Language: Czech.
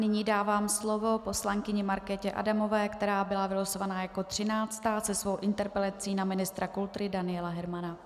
Nyní dávám slovo poslankyni Markétě Adamové, která byla vylosovaná jako třináctá se svou interpelací na ministra kultury Daniela Hermana.